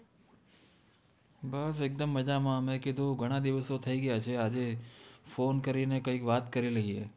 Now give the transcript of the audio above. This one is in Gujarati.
બસ એક દમ મજામા મૈ કિધુ ઘના દિવસો થાઇ ગયા છે આજે phone કરિને કૈ વાત કરિ લિયે